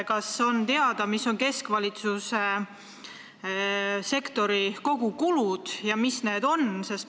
Kas on teada, mis on keskvalitsussektori kogukulud?